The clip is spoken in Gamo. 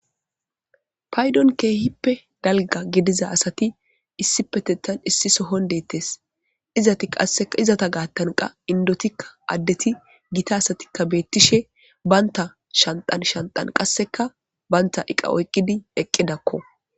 paydon keehippe dalga gidiza asati issi petettan issi sohon deettes izat qasseka izata gaattanqa indotikka addeti gita asatikka beettishe baynta shantan shanxan qasseka banta iqa oyqqidi eqqidakko